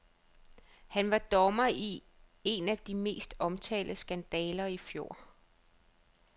Han var dommer i en af de mest omtalte skandaler i fjor.